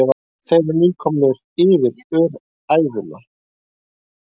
Þeir eru nýkomnir yfir Ófæruna.